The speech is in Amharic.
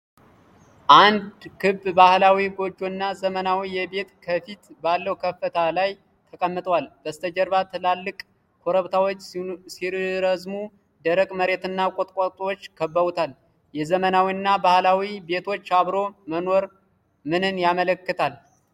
አንድ ክብ ባህላዊ ጎጆና ዘመናዊ ቤት ከፊት ባለው ከፍታ ላይ ተቀምጠዋል። በስተጀርባ ትላልቅ ኮረብታዎች ሲረዝሙ፣ ደረቅ መሬትና ቁጥቋጦዎች ከበውታል። የዘመናዊና ባህላዊ ቤቶች አብሮ መኖር ምንን ያመለክታል?